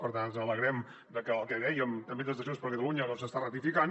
per tant ens alegrem de que el que dèiem també des de junts per catalunya doncs s’està ratificant